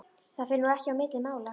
Það fer nú ekki á milli mála